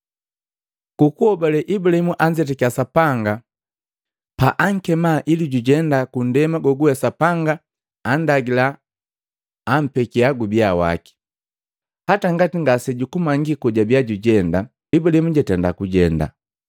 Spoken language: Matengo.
Ku kuhobale Ibulahimu anzetakiya Sapanga pa ankema ili jujenda ku nndema goguwe Sapanga annndagila akumpekia gubiya waki. Hata ngati ngase jamanyiki kojabia jujenda, Ibulaimu jatenda kujenda.